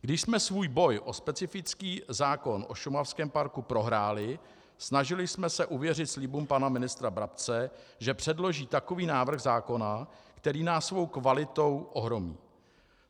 Když jsme svůj boj o specifický zákon o šumavském parku prohráli, snažili jsme se uvěřit slibům pana ministra Brabce, že předloží takový návrh zákona, který nás svou kvalitou ohromí.